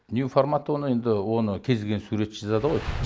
нью форматы оны енді оны кез келген суретші жазады ғой